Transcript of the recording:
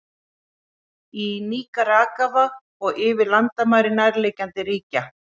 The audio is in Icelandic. Í Níkaragva og yfir landamæri nærliggjandi ríkja.